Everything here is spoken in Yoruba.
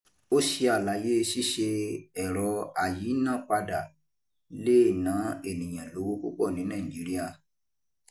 O ṣe àlàyé. Ṣíṣe ẹ̀rọ ayínápadà le è nà ènìyàn lówó pupọ̀ ní Nàìjíría.